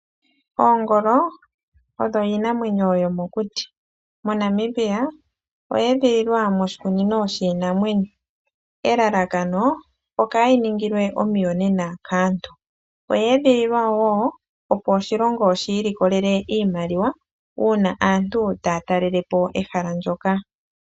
Oongolo, odho iinamwenyo yo mokuti. MoNamibia oya edhililwa moshikunino shiinamwenyo, elalakano okaa yiningilwe omiyonena kaantu . Oya edhililwa wo opo oshilongo shi ilikolele iimaliwa uuna aantu taya talelepo ehala ndjoka.